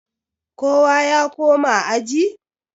kowa ya koma aji?